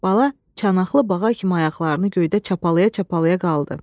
Bala çanaqlı bağa kimi ayaqlarını göydə çapalaya-çapalaya qaldı.